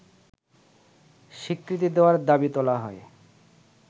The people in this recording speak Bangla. স্বীকৃতি দেয়ার দাবি তোলা হয়